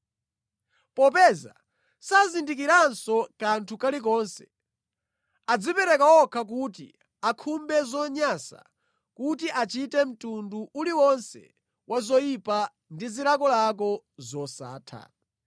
Popeza sazindikiranso kanthu kalikonse, adzipereka okha kuti akhumbe zonyansa, kuti achite mtundu uliwonse wa zoyipa ndi zilakolako zosatha.